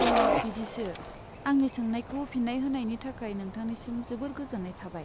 अ, बिदिसो। आंनि सोंनायखौ फिन्नाय होनायनि थाखाय नोंथांनिसम जोबोर गोजोन्नाय थाबाय।